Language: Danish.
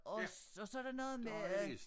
Og og så det noget med at